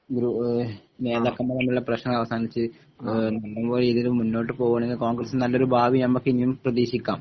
ഗ്രു ഇഹ് നേതാക്കന്മാർ തമ്മിലുള്ള പ്രശ്നങ്ങൾ അവസാനിച്ച് ഇഹ് പൂർവ റെറ്റീഹിയിൽ മുന്നോട്ട് പോകെണെകിൽ കോൺഗ്രസിന് നല്ലൊരു ഭാവി നമുക്ക് ഇനിയും പ്രതീക്ഷിക്കാം